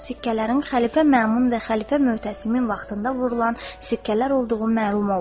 Sikkələrin xəlifə Məmun və xəlifə Möhtəsimin vaxtında vurulan sikkələr olduğu məlum oldu.